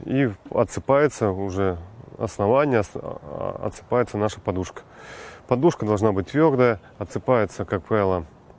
и в отсыпается уже основание отсыпается наша подушка подушка должна быть твёрдая отсыпается как правило